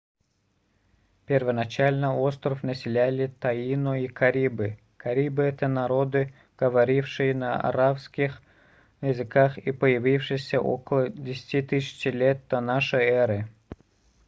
первоначально остров населяли таино и карибы карибы это народы говорившие на аравакских языках и появившиеся около 10 000 лет до н э